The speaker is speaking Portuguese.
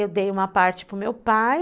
Eu dei uma parte para o meu pai.